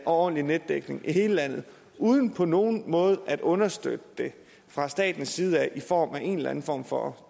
ordentlig netdækning i hele landet uden på nogen måde at understøtte det fra statens side i form af en eller anden form for